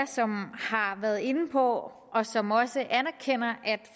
som har været inde på og som også anerkender at